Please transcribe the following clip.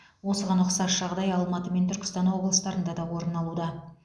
осыған ұқсас жағдай алматы мен түркістан облыстарында да орын алуда